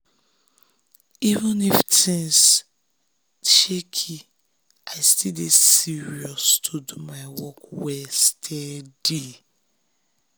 even if things shaky i still dey serious to do my work well steady.